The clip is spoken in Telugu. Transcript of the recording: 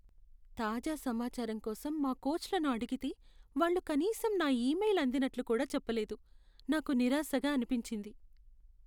తాజా సమాచారం కోసం మా కోచ్లను అడిగితే వాళ్ళు కనీసం నా ఈమెయిల్ అందినట్లు కూడా చెప్పలేదు, నాకు నిరాశగా అనిపించింది.